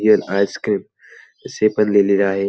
Ice cream असे पण लिहलेले आहे.